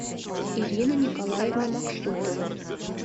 ирина николаевна максутова